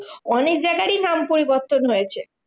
অনেক জায়গায়ই নাম পরিবর্তন হয়েছে।